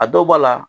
A dɔw b'a la